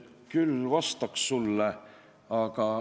Küll vastaks sulle.